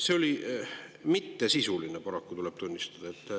Need olid mittesisulised, tuleb paraku tunnistada.